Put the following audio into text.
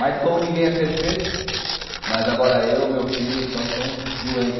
Mas como ninguém é perfeito, mas agora eu, meu filho, nós somos doentes.